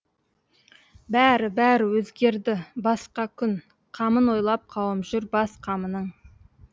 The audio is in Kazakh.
бәрі бәрі өзгерді басқа күн қамын ойлап қауым жүр бас қамының